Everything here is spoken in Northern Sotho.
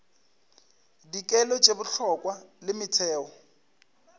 dikelo tše bohlokwa le metheo